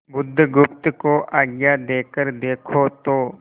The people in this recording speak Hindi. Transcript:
बुधगुप्त को आज्ञा देकर देखो तो